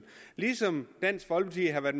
ligesom dansk folkeparti har været